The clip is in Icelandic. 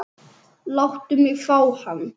Láttu mig fá hann.